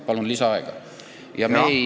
Palun lisaaega!